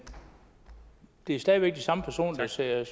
det er stadig væk de samme personer der sidder og